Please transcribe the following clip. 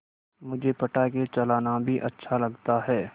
मुझे पटाखे चलाना भी अच्छा लगता है